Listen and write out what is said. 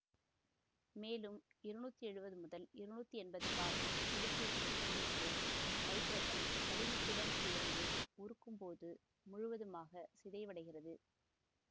மேலும் இருநூற்றி எழுவது முதல் இருநூற்றி எம்பது பாகை செல்சியசு வெப்பநிலைகளில் நைதரசன் வளிமத்துடன் சேர்த்து உருக்கும்போது முழுவதுமாக சிதைவடைகிறது